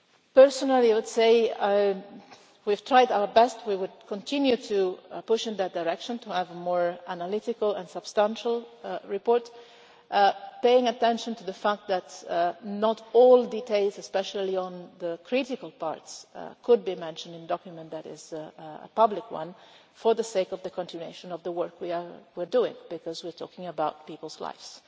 Personally I would say that we have tried our best we will continue to push in that direction to have a more analytical and substantial report paying attention to the fact that not all details, especially on the critical parts, could be mentioned in a document that is a public one, for the sake of the continuation of the work we are doing, because we are talking about peoples' lives.